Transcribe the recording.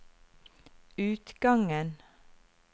utgangen